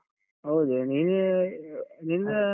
ಹೌದು, ನೀನು ನೀನು ಅಹ್.